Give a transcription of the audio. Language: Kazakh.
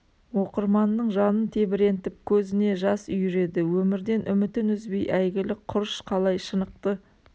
оқырманның жанын тебірентіп көзіне жас үйіреді өмірден үмітін үзбей әйгілі құрыш қалай шынықты